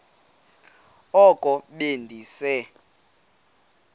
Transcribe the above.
oko be ndise